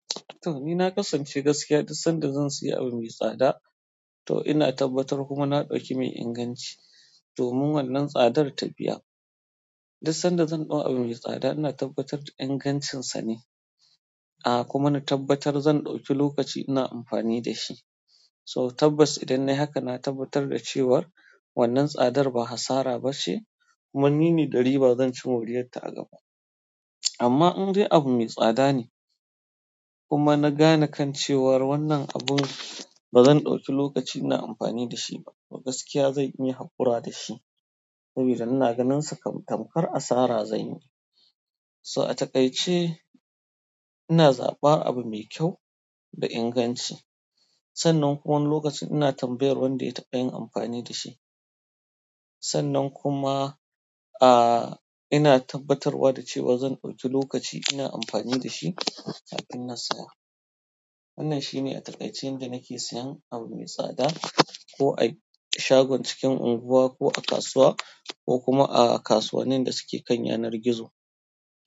To, ni na kasance gaskiya duk sanda zan sayi abu mai tsada. To ina tabbatar kuma na ɗauki mai inganci domin wannan tsadar ta biya. Duk sanda zan ɗau abun mai tsada ina tabbatar da ingancinsa ne, ah kuma na tabbatar zan ɗauki lokaci ina amfani da shi. So tabbas idan nayi haka na tabbatar da cewar wannan tsadar ba hasara ba ce kuma ni ne da riba zan ci moriyarta a gaba. Amma in dai abu mai tsada ne kuma na gane kan cewar wannan abun ba zan ɗauki lokaci ina amfani da shi ba, to gaskiya zan iya haƙura da shi saboda ina ganinsa kam tamkar asara zanyi yi. So a takaice ina zaɓar abu mai kyau da inganci. Sannan kuma wani lokacin ina tambayar wanda ya taɓa yin amfani da shi. Sannan kuma, ah ina tabbatarwa da cewa zan ɗauki lokaci ina amfani da shi kafin na saya. Wannan shi ne a takaice yanda nake sayan abu mai tsada ko a shagon cikin unguwa ko a kasuwa ko kuma a kasuwannin da suke kan yanar gizo.